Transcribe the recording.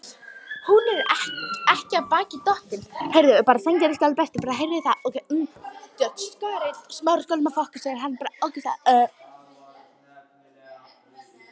Hún er ekki af baki dottin.